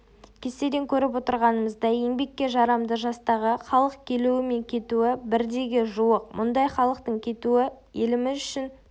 кестеден көріп отырғанымыздай еңбекке жарамды жастағы халық келуі мен кетуі бірдейге жуық мұндай халықтың кетуі еліміз үшін